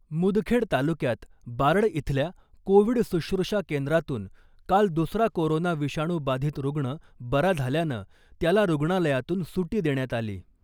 मुदखेड तालुक्यात बारड इथल्या कोविड सुश्रुषा केंद्रातून काल दुसरा कोरोना विषाणू बाधित रूग्ण बरा झाल्यानं , त्याला रुग्णालयातून सुटी देण्यात आली .